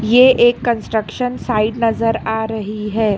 ये एक construction site नजर आ रही है।